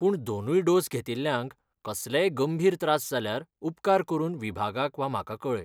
पूण दोनूय डोस घेतिल्ल्यांक कसलेय गंभीर त्रास जाल्यार उपकार करून विभागाक वा म्हाका कळय.